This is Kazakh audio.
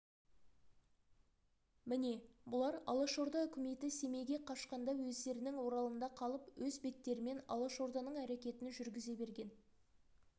міне бұлар алашорда үкіметі семейге қашқанда өздерінің оралында қалып өз беттерімен алашорданың әрекетін жүргізе берген